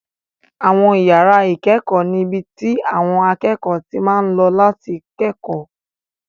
Àwọn yàrá ìkẹ́kọ̀ọ́ ni ibi tí àwọn akẹ́kọ̀ọ́ ti máa ń lọ láti kẹ́kọ̀ọ́